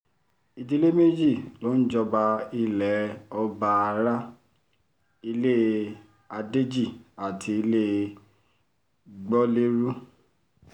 ìdílé mẹ́ta ló ń jọba ilẹ̀ ọbaará ilé adéjì àti ilé gbolérù